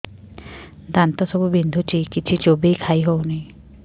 ଦାନ୍ତ ସବୁ ବିନ୍ଧୁଛି କିଛି ଚୋବେଇ ଖାଇ ହଉନି